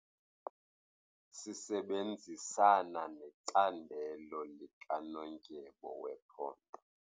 Sisebenzisana necandelo likanondyebo wephondo.